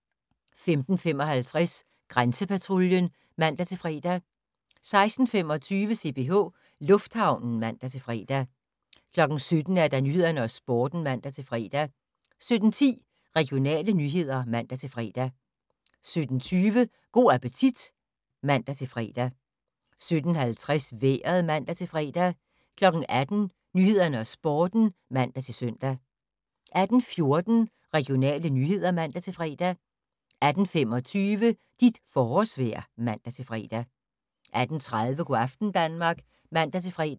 15:55: Grænsepatruljen (man-fre) 16:25: CPH Lufthavnen (man-fre) 17:00: Nyhederne og Sporten (man-fre) 17:10: Regionale nyheder (man-fre) 17:20: Go' appetit (man-fre) 17:50: Vejret (man-fre) 18:00: Nyhederne og Sporten (man-søn) 18:14: Regionale nyheder (man-fre) 18:25: Dit forårsvejr (man-fre) 18:30: Go' aften Danmark (man-fre)